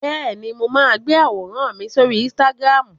Bẹ́ẹ̀ni, mo máa ń gbé àwòrán mi sórí Instagram.